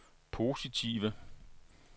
positive